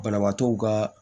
Banabaatɔw ka